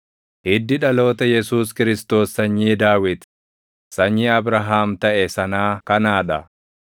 Hiddi dhaloota Yesuus Kiristoos sanyii Daawit, sanyii Abrahaam taʼe sanaa kanaa dha: